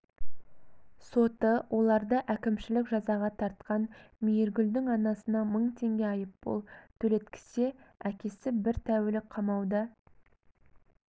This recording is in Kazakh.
соты оларды әкімшілік жазаға тартқан мейіргүлдің анасына мың теңге айыппұл төлеткізсе әкесі бір тәулік қамауда